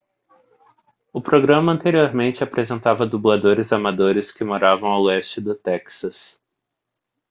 o programa anteriormente apresentava dubladores amadores que moravam ao leste do texas